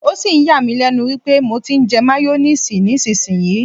O sì ń yà mí lẹ́nu wípé mo ti ń jẹ máyónísiìsì nísinsìnyí.